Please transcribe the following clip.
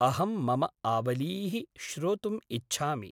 अहंं मम आवलीः श्रोतुम् इच्छामि।